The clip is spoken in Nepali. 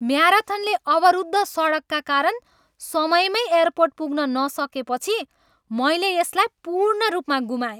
म्याराथनले अवरुद्ध सडकका कारण समयमै एयरपोर्ट पुग्न नसकेपछि मैले यसलाई पूर्ण रूपमा गुमाएँ।